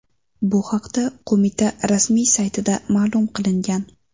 Bu haqda qo‘mita rasmiy saytida ma’lum qilingan .